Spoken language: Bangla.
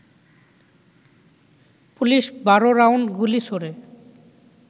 পুলিশ ১২ রাউন্ড গুলি ছোড়ে